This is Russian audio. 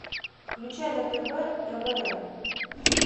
включай на тв твм